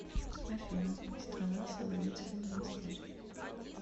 афина страна соловецкий монастырь